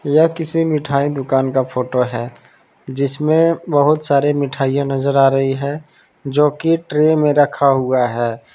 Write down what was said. यह किसी मिठाई दुकान का फोटो है जिसमें बहुत सारी मिठाइयां नजर आ रही है जो की ट्रे में रखा हुआ है।